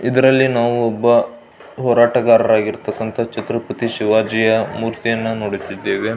ಇದರಲ್ಲಿ ನಾವು ಒಬ್ಬ ಹೋರಾಟಗಾರರಾಗಿರತಕ್ಕಾಂತ ಛತ್ರಪತಿ ಶಿವಾಜಿಯ ಮೂರ್ತಿಯನ್ನು ನೋಡುತ್ತಿದ್ದೇವೆ.